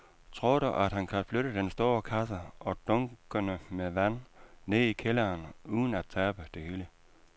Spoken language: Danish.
Tror du, at han kan flytte den store kasse og dunkene med vand ned i kælderen uden at tabe det hele?